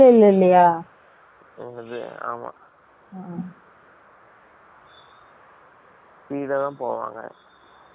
ஆமா ! speed ஆ தான் போவாங்க